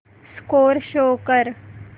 score show कर